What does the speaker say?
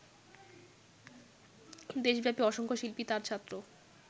দেশব্যাপী অসংখ্য শিল্পী তাঁর ছাত্র